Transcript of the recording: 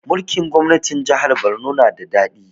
Mulkin gwamnatin jahar Borno na da daɗi